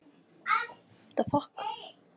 Hann strauk létt yfir hárið á henni.